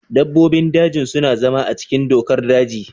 Dabbobin daji suna zama a cikin dokar daji.